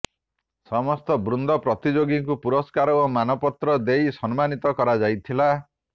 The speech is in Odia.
ସମସ୍ତ ବୃନ୍ଦ ପ୍ରତିଯୋଗିଙ୍କୁ ପୁରସ୍କାର ଓ ମାନପତ୍ର ଦେଇ ସମ୍ମାନିତ କରାଯାଇଥିଲା